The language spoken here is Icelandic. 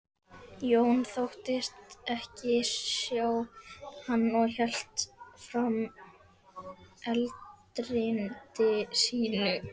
Jón þóttist ekki sjá hann og hélt fram erindi sínu.